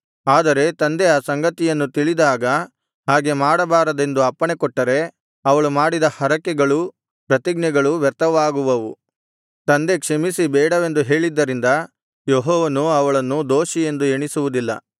ಆದರೆ ತಂದೆ ಆ ಸಂಗತಿಯನ್ನು ತಿಳಿದಾಗ ಹಾಗೆ ಮಾಡಬಾರದೆಂದು ಅಪ್ಪಣೆಕೊಟ್ಟರೆ ಅವಳು ಮಾಡಿದ ಹರಕೆಗಳೂ ಪ್ರತಿಜ್ಞೆಗಳೂ ವ್ಯರ್ಥವಾಗುವವು ತಂದೆ ಕ್ಷಮಿಸಿ ಬೇಡವೆಂದು ಹೇಳಿದ್ದರಿಂದ ಯೆಹೋವನು ಅವಳನ್ನು ದೋಷಿಯೆಂದು ಎಣಿಸುವುದಿಲ್ಲ